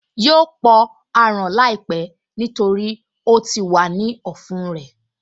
Yóò pọ aràn láìpẹ́ nítorí ó ti wà ní ọ̀nà ọ̀fun rẹ̀